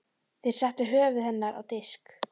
Þeir settu höfuð hennar á disk.